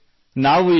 ಸ್ನೇಹಿತರೇ